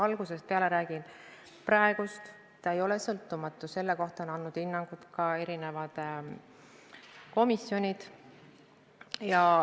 Algusest peale räägin: praegu ei ole komisjon sõltumatu ja selle kohta on andnud hinnangu ka eri komisjonid.